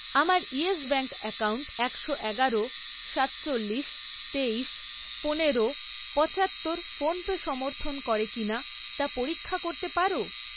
আমার Yes Bank account একশো এগারো, সাতচল্লিশ, তেইশ, পনেরো, পচাত্তর ফোনপে সমর্থন করে কিনা তা পরীক্ষা করতে পারো?